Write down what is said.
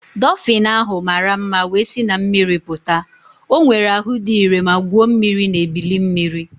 Dofin ahụ mara mma wee si na mmiri pụta. O nwere ahụ dị ire ma gwuo mmiri na ebili mmiri.